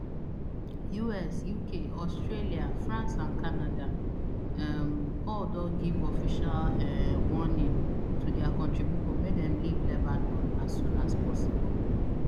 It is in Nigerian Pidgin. us uk australia france and canada um all don give official um warning to dia kontri pipo make dem leave lebanon as soon as possible